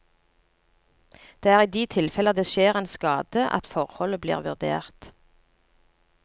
Det er i de tilfeller det skjer en skade at forholdet blir vurdert.